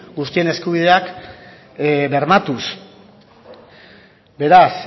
guztien eskubideak bermatuz beraz